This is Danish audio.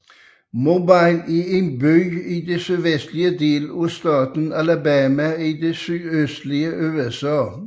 Mobile er en by i den sydvestlige del af staten Alabama i det sydøstlige USA